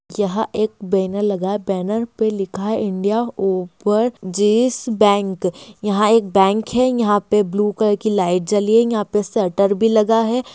यह एक बैनर लगा है बैनर पे लिखा है इंडिया ओवर जिस बैंक यहां एक बैंक है यहां पे ब्लू कलर की लाइट जली है यहां पे शटर भी लगा है।